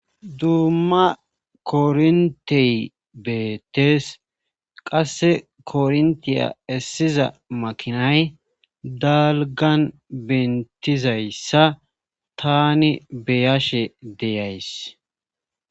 Dumma korintey beettes qasse korintiya essiza makinay dalgan bentizayssa tani beyashe deyays.